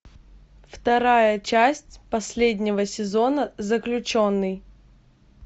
вторая часть последнего сезона заключенный